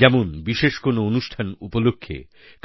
যেমন বিশেষ কোনো অনুষ্ঠান উপলক্ষে